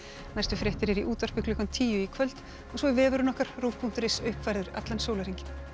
næstu fréttir eru í útvarpi klukkan tíu í kvöld og svo er vefurinn rúv punktur is uppfærður allan sólarhringinn